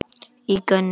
í gönur.